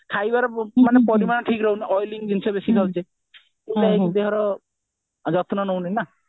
ଖାଇବାର ମାନେ ପରିମାଣ ଠିକ ରହୁନାଇଁ oily ଜିନିଷ ଆମେ ବେଶି ଖାଉଛେ ଯଉଟା କି ଦେହର ଯତ୍ନ ନଉନେ ନା